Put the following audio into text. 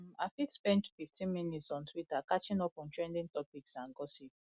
um i fit spend 15 minutes on twitter catching up on trending topics and gossip